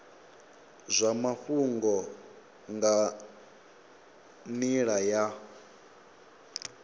zwa mafhungo nga nila ya